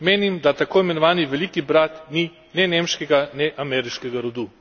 Menim, da tako imenovani veliki brat ni ne nemškega ne ameriškega rodu.